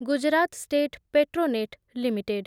Gujarat State Petronet limited